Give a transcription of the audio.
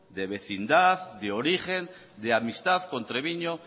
de vecindad de origen de amistad con treviño